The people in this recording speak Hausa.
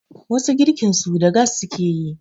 wasu girkinsu da gas suke yi